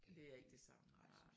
Det er ikke det samme nej